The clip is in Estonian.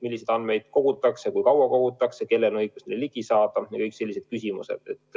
Milliseid andmeid kogutakse, kui kaua kogutakse, kellel on õigus neile ligi saada – kõik sellised küsimused.